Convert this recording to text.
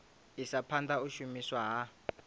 isa phanda u shumiswa ha